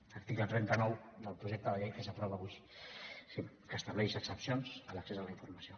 article trenta nou del projecte de llei que s’aprova avui sí que estableix excepcions a l’accés a la informació